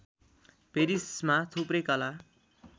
पेरिसमा थुप्रै कला